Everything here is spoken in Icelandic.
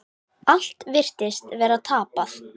Allt virtist vera tapað.